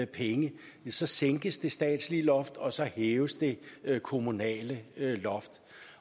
penge sænkes det statslige loft og så hæves det kommunale loft